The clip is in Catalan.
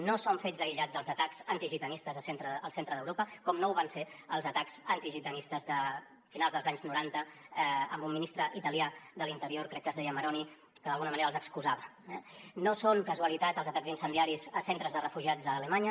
no són fets aïllats els atacs antigitanistes al centre d’europa com no ho van ser els atacs antigitanistes de finals dels anys noranta amb un ministre italià de l’interior crec que es deia maroni que d’alguna manera els excusava eh no són casualitat els atacs incendiaris a centres de refugiats a alemanya